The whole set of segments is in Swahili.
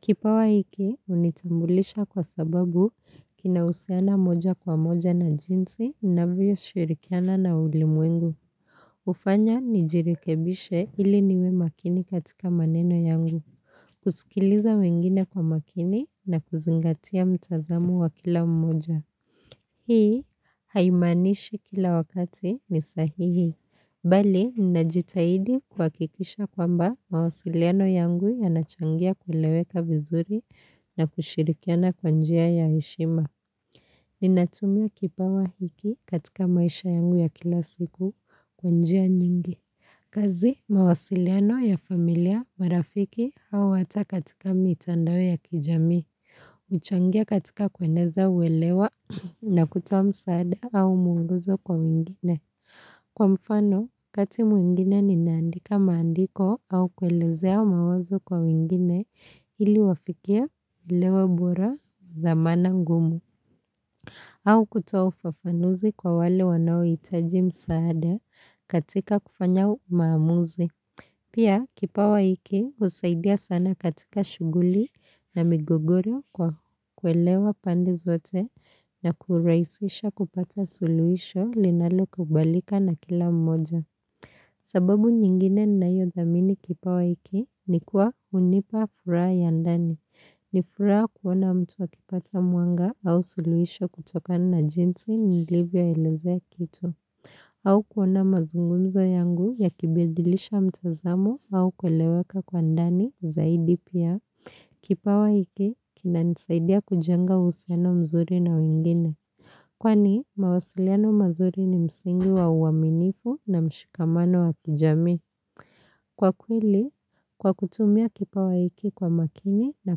Kipawa hiki, hunitambulisha kwa sababu kina husiana moja kwa moja na jinsi ninavyo shirikiana na ulimwengu. HUfanya nijirekebishe ili niwe makini katika maneno yangu, kusikiliza wengine kwa makini na kuzingatia mtazamo wa kila mmoja. Hii haimaanishi kila wakati ni sahihi. Bali, nina jitahidi kuhakikisha kwamba mawasiliano yangu yanachangia kuleweka vizuri na kushirikiana kwa njia ya heshima. Ninatumia kipawa hiki katika maisha yangu ya kila siku kwa njia nyingi. Kazi mawasiliano ya familia marafiki au hata katika mitandao ya kijamii, huchangia katika kueneza uwelewa na kutoa msaada au mwongozo kwa wingine. Kwa mfano, kati mwigine ninaandika maandiko au kuwaelezea mawazo kwa wingine ili wafikia ulewa bora za maana ngumu. Au kutoa ufafanuzi kwa wale wanao hitaji msaada katika kufanya maamuzi. Pia kipawa hiki husaidia sana katika shuguli na migogoro kwa kuelewa pande zote na kurahisisha kupata suluhisho linalo kubalika na kila mmoja. Sababu nyingine ninayo dhamini kipawa hiki ni kuwa hunipa furaha ya ndani. Ni furaha kuona mtu akipata mwanga au suluhisho kutoka na jinsi nilivyo elezea kitu. Au kuona mazungumzo yangu yakibidilisha mtazamo au kweleweka kwa ndani zaidi pia Kipawa hiki, kinanisaidia kujanga uhusiano mzuri na wengine. Kwani mawasiliano mazuri ni msingi wa uaminifu na mshikamano wa kijamii. Kwa kweli, kwa kutumia kipawa hiki kwa makini na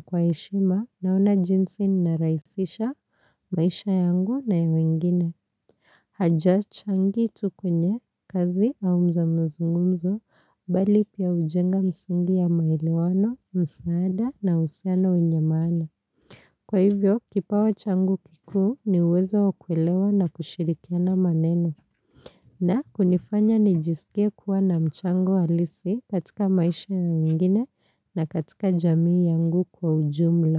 kwa heshima naona jinsi narahisisha maisha yangu na ya wengine. Hajachangi tu kwenye kazi au mazungumzo bali pia hujenga msingi ya maelewano, msaada na uhusiano wenye maana. Kwa hivyo, kipawa changu kikuu ni uwezo wa kuelewa na kushirikiana maneno. Na kunifanya nijisikie kuwa na mchango halisi katika maisha ya wengine na katika jamii yangu kwa ujumla.